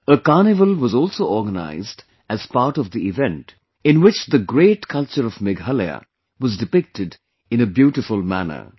A carnival was also organized as part of the event, in which the great culture of Meghalaya was depicted in a beautiful manner